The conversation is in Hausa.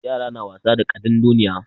Yara na wasa da ƙadandoniya.